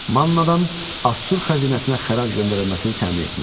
Mannadan Assur xəzinəsinə xərac göndərilməsini təmin etmək.